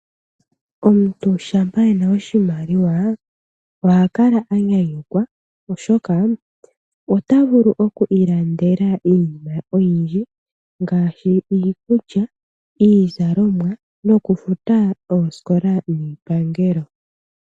Omuntu shampa e na oshimaliwa oha kala a nyanyukwa oshoka ota vulu oku ilandela iinima oyindji ngaashi iikulya, iizalomwa noku futa oosikola niipangelo.